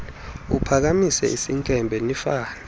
uphakamisa isinkempe nifane